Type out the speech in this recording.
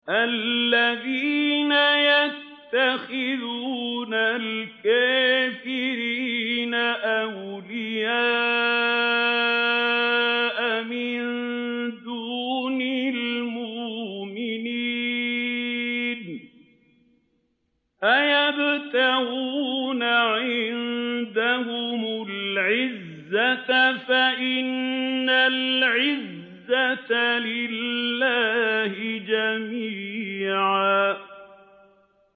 الَّذِينَ يَتَّخِذُونَ الْكَافِرِينَ أَوْلِيَاءَ مِن دُونِ الْمُؤْمِنِينَ ۚ أَيَبْتَغُونَ عِندَهُمُ الْعِزَّةَ فَإِنَّ الْعِزَّةَ لِلَّهِ جَمِيعًا